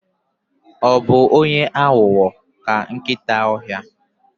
Ọ bụ onye aghụghọ ka nkịta ọhịa?